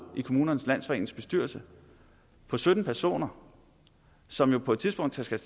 i kommunernes landsforenings bestyrelse på sytten personer som jo på et tidspunkt skal